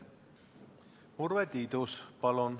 Urve Tiidus, palun!